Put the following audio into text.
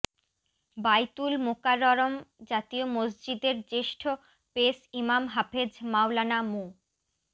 বায়তুল মোকাররম জাতীয় মসজিদের জ্যেষ্ঠ পেশ ইমাম হাফেজ মাওলানা মো